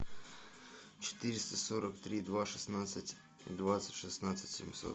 четыреста сорок три два шестнадцать двадцать шестнадцать семьсот